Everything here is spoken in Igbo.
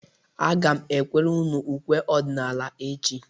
Aga m ekwere unu ukwe ọdịnaala echi.